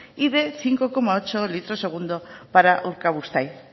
y de cinco coma ocho litros segundo para urkabustaiz